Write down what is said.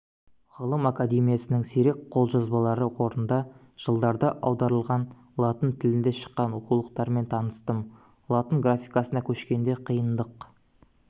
ғылым академиясының сирек қолжазбалар қорында жылдарда аударылған латын тілінде шыққан оқулықтармен таныстым латын графикасына көшкенде қиындық